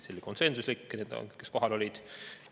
See oli konsensuslik – need, kes kohal olid.